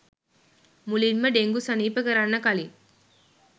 මුලින්ම ඩෙංගු සනීප කරන්න කලින්.